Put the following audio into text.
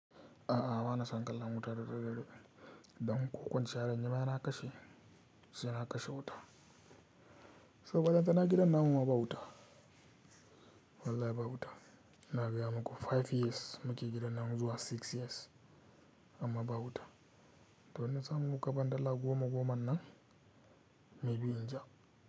A'a bana son kallon wuta da daddare don ko kwanciya zan yima sai na kashe, sai na kashe wutan. To ballantana gidan namu ma ba wuta. Wallahi ba wuta. Ina gaya muku five years muke gidan nan zuwa six years amma ba wuta. To in na samu kuka dala goma goman nan maybe in ja.